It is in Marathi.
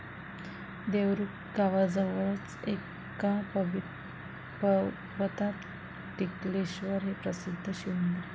देवरुख गावाजवळच एका पर्वतात टिकलेश्वर हे प्रसिद्ध शिवमंदिर आहे.